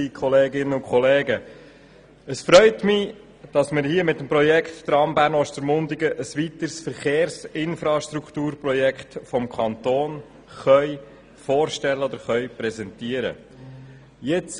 der BaK. Es freut mich, dass wir mit dem Tramprojekt Bern– Ostermundigen ein weiteres Infrastrukturprojekt des Kantons präsentieren können.